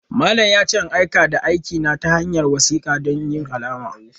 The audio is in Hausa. Malamin ya ce in aika da aikina ta hanyar wasiku don yin alama.